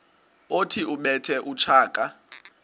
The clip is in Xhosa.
othi ubethe utshaka